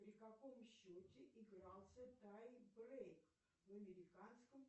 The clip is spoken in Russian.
при каком счете игрался таймбрейк в американском